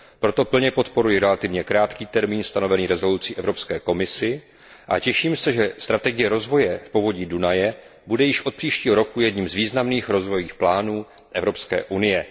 Proto plně podporuji relativně krátký termín stanovený usnesením Evropské komisi a těším se, že strategie rozvoje v povodí Dunaje bude již od příštího roku jedním z významných rozvojových plánů Evropské unie.